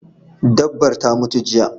Dabbar ta mutu jiya